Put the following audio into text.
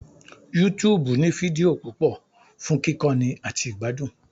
YouTube ní fídíò púpọ̀ fún kíkọ́ni àti ìgbádùn